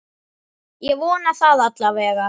Ég vona það alla vega.